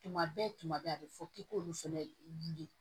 Tuma bɛɛ tuma bɛɛ a bɛ fɔ k'i k'olu fana wili